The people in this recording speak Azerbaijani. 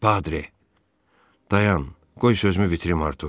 Padre, dayan, qoy sözümü bitirim, Artur.